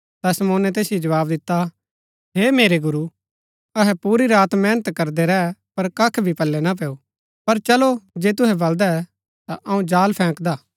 ता शमौने तैसिओ जवाव दिता हे मेरै गुरू अहै पूरी रात मेहनत करदै रै पर कख भी पल्लै ना पेयू पर चलो जे तुहै बलदै ता अऊँ जाल फैंकदा